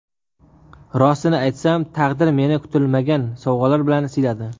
Rostini aytsam, taqdir meni kutilmagan sovg‘alar bilan siyladi.